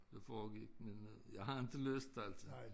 Der foregik men øh jeg havde inte lyst altså